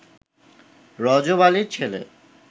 রজব আলীর ছেলে